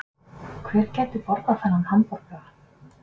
Hver gæti borðað þennan hamborgara